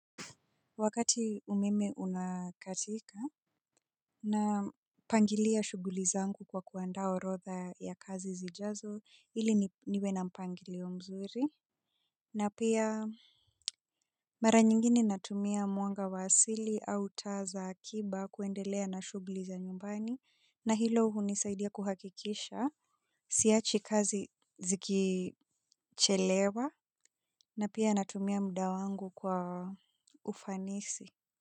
Wakati umeme unakatika napangilia shughuli zangu kwa kuandaa orotha ya kazi zijazo ili niwe na mpangilio mzuri. Na pia mara nyingi ninatumia mwanga wa asili au taa za akiba kuendelea na shughuli za nyumbani na hilo hunisaidia kuhakikisha siachi kazi zikichelewa na pia natumia muda wangu kwa ufanisi.